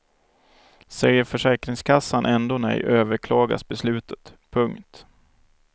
Säger försäkringskassan ändå nej överklagas beslutet. punkt